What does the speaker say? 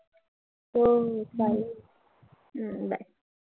हम्म चालेल. हम्म bye